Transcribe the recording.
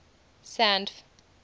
sandf